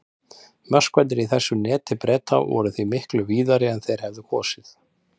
Möskvarnir í þessu neti Breta voru því miklu víðari en þeir hefðu kosið.